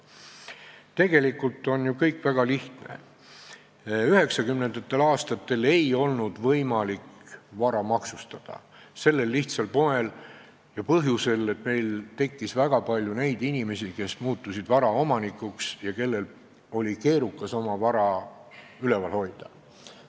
Tegelikult on ju kõik väga lihtne: 1990. aastatel ei olnud võimalik vara maksustada, sellel lihtsal põhjusel, et meil tekkis väga palju neid inimesi, kes muutusid vara omanikuks ja kellel oli keerukas oma vara üleval hoida.